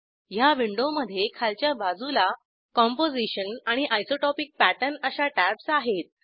ह्या विंडोमधे खालच्या बाजूला कंपोझिशन आणि आयसोटोपिक पॅटर्न अशा टॅब्ज आहेत